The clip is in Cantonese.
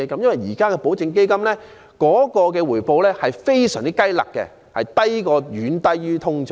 現時的保證基金的回報實可說是非常"雞肋"，遠低於通脹。